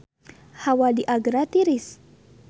Hawa di Agra tiris